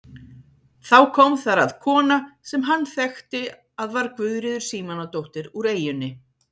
Þá kom þar að kona sem hann þekkti að var Guðríður Símonardóttir úr eyjunni.